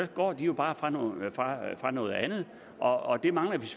går de jo bare fra noget fra noget andet og det mangler